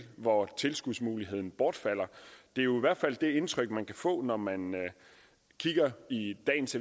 hvor tilskudsmuligheden bortfalder det er jo i hvert fald det indtryk man kan få når man man kigger i dagens